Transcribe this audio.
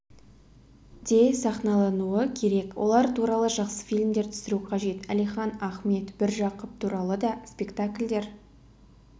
де сахналануы керек олар туралы жақсы фильмдер түсіру қажет әлихан ахмет міржақып туралы да спектакльдер